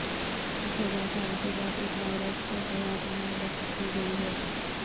تیس ہزار سال کے بعد ایک وائرس کو حیات نو بخشی گئی ہے